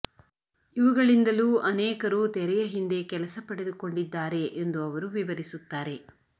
ಇವುಗಳಿಂದಲೂ ಅನೇಕರು ತೆರೆಯ ಹಿಂದೆ ಕೆಲಸ ಪಡೆದುಕೊಂಡಿದ್ದಾರೆ ಎಂದು ಅವರು ವಿವರಿಸುತ್ತಾರೆ